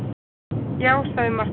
Já, sagði Marteinn.